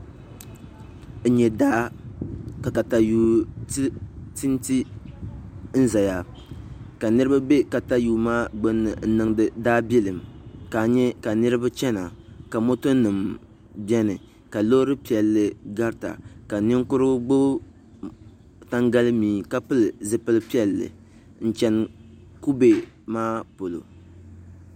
N nyɛ daa ka katayuu tinti n ʒɛya ka niraba bɛ katayuu maa gbunni n niŋdi daabilim ka nyɛ ka niraba chɛna ka moto nim biɛni ka loori piɛlli garita ka ninkurigu gbubi tangali mii ka pili zipili piɛlli n chɛni kubɛ maa polo